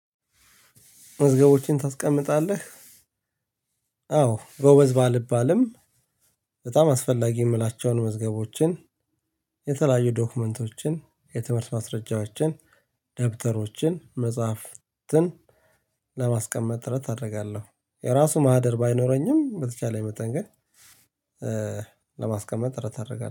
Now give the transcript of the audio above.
መዝገቦችን ታስቀምጣለህ? አዎ ባልባልም በጣም አስፈላጊ የምላቸውን መዝገቦችን የተለያዩ ዶክመንቶችን፣ የትምህርት ማስረጃዎችን፣ ደብተሮችን፣ መጽሐፍትን ለማስቀመጥ ጥረት አደርጋለሁ። የራሱ ማህደር ባይኖረኝም በተቻለኝ መጠን ግን ለማስቀመጥ ጥረት አደርጋለሁ።